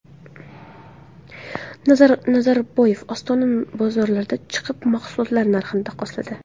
Nazarboyev Ostona bozorlariga chiqib, mahsulotlar narxlarini taqqosladi.